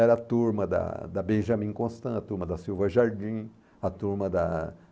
Era a turma da da Benjamin Constanto, turma da Silva Jardim, a turma da